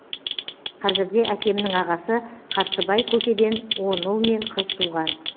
қазірде әкемнің ағасы қарсыбай көкеден он ұл мен қыз туған